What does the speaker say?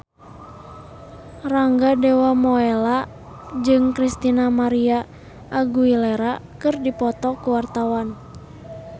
Rangga Dewamoela jeung Christina María Aguilera keur dipoto ku wartawan